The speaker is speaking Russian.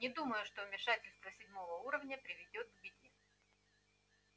не думаю что вмешательство седьмого уровня приведёт к беде